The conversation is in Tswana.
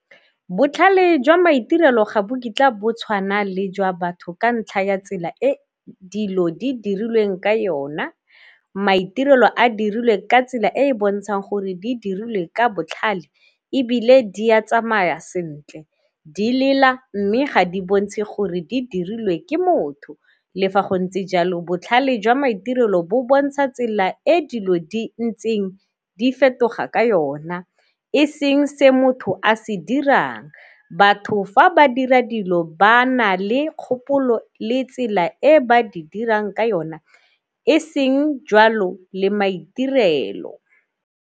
Botlhale jwa maitirelo ga bo kitla bo tshwana le jwa batho ka ntlha ya tsela e dilo di dirilweng ka yona. Maitirelo a dirilwe ka tsela e e bontshang gore di diriwe ka botlhale, ebile di a tsamaya sentle di lela mme ga di bontshe gore di dirilwe ke motho. Le fa go ntse jalo botlhale jwa maitirelo bo bontsha tsela e dilo di ntseng di fetoga ka yona e seng se motho a se dirang, batho fa ba dira dilo ba na le kgopolo le e tsela e ba di dirang ka yona e seng jwalo le maitirelo.